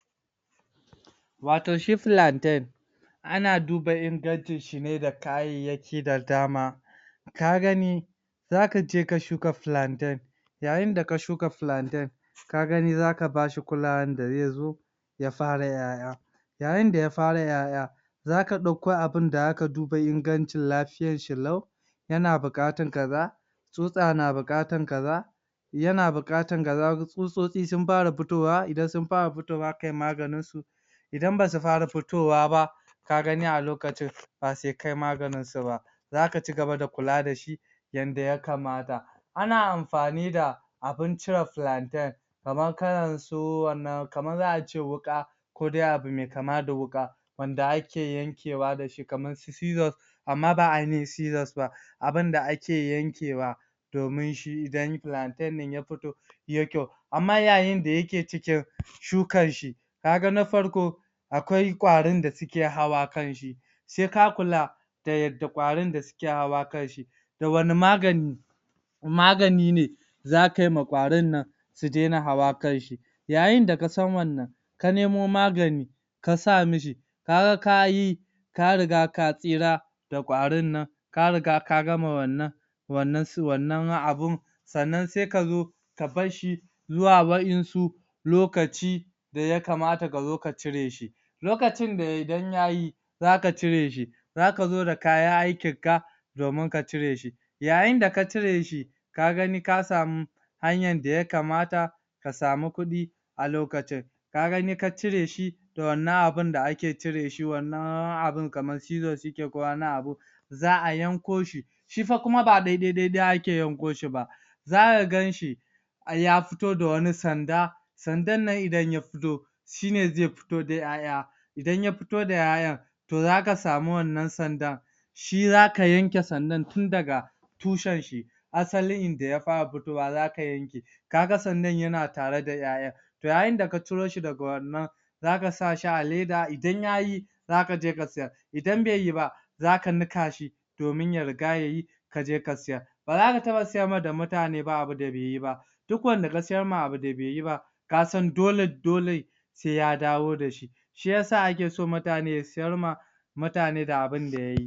Wato shi filanten ana duba ingancin shi ne da kayayyaki da dama, ka gani [] zaka je ka shuka filanten, yayin da ka shuka filanten ka gani zaka bashi kulawan da zai zo ya fara yaya, yayin da ya fara yaya, zaka dauko abun da zaka duba ingancin lafiyan shi lau, yana bukatan kaza, tsutsa na bukatan kaza, yana bukatan kaza, tsutsotsi sun fara fitowa, idan sun fara fitowa kayi maganin su idan basu fara fitowa ba ka gani a lokacin ba sai kayi maganin su ba, zaka ci gaba da kula da shi yanda ya kamata, ana amfani da abun cire filanten kaman kalan su, wannan, kaman zaka ce, wuƙa kodai abu mai kama da wuƙa wanda ake yankewa dashi kaman su scissors amma ba ainihin scissors ba abun da ake yankewa domin shi idan plaintain din ya fito yai kyau amma yayin da yake cikin shukan shi, kaga na farko akwai kwarin da suke hawa kanshi sai ka kula da yadda kwarin suke hawa kanshi da wane magani, magani ne zaka yima kwarin nan su daina hawa kanshi yayin da ka san wannan ka nemo magani ka sa mishi, ka ga kayi, ka riga ka tsira da kwarin nan ka riga ka gama wannan, wannan, su wannan abun sannan sai kazo ka bashshi zu wa wayansu lokaci da ya kamata ka zo ka cire shi, lokacin da idan yayi zaka cire shi, zaka zo da kayan aikin ka domin ka cire shi, yayin da ka cire shi ka gani ka samu hanyan da ya kamata ka samu kudi a lokacin, ka gani ka cire shi da wannan abun da ake cire shi, wannan abun kaman scissors suke ko wani abu za’a yanko shi shi kuma fa ba daidai daidai ake yanko shi ba zaka gan shi ya fito da wani sanda, sandan nan idan ya fito shine zai fito da yaya, idan ya fito da yayan to za ka samu wannan sandan shi zaka yan ke sandan tun daga tushen shi asalin inda ya fara fitowa zaka yanke kaga sandan yana tare da yayan to yayin da ka ciro shi daga wannan zaka sa shi a leda, idan yayi za ka je ka sayar idan bai yiba zaka nikashi domin ya rika yayi sai ka je ka sayar baza ka taba sayarwa da mutane abun da bai yiba duk wanda ka sayarwa abu da beyiba, kasan dole dole sai ya dawo da shi, shiyasa ake son mutane su sayar wa mutane da abin da yayi.